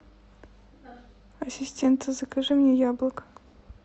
ассистент закажи мне яблок